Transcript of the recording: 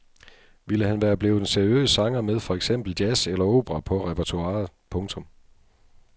Ville han være blevet en seriøs sanger med for eksempel jazz eller opera på repertoiret. punktum